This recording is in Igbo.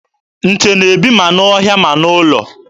Nte na-ebi ma n'ọhịa ma n'ụlọ.